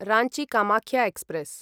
Ranchi Kamakhya express